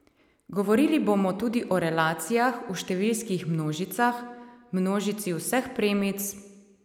Govorili bomo tudi o relacijah v številskih množicah, množici vseh premic ...